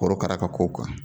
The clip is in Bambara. korokara ka ko kan